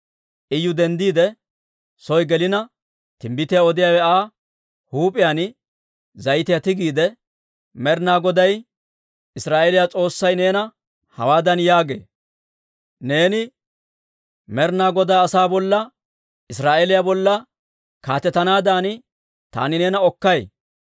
Iyu denddiide soo gelina, timbbitiyaa odiyaawe Aa huup'iyaan zayitiyaa tigiide, «Med'ina Goday Israa'eeliyaa S'oossay neena hawaadan yaagee, ‹Neeni Med'ina Godaa asaa bolla, Israa'eeliyaa bolla kaatetanaadan taani neena Okkay.